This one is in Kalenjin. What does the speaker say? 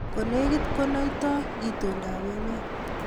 Ko negit ko naitoi itondo ab emet